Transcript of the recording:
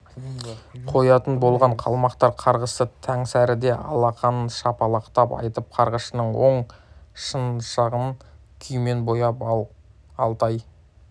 қоятын болған қалмақтар қарғысты таңсәріде алақанын шапалақтап айтып қарғысшының оң шынашағын күйемен бояған ал алтай